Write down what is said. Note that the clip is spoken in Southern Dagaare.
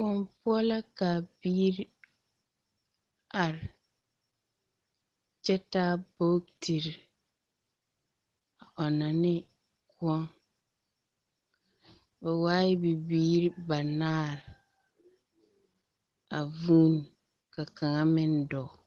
Kõɔ poɔ ka biiri, are! Kyɛ taa bogtiri, a ɔnnɔ ne kõɔ. Ba waae bibiiiri banaar, a vuun, ka kaŋa meŋ dɔɔ.